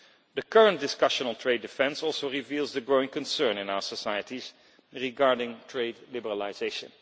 The current discussion on trade defence also reveals the growing concern in our societies regarding trade liberalisation.